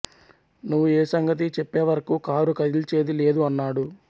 నువ్వు ఏ సంగతీ చెప్పేవరకు కారు కదిల్చేది లేదు అన్నాడు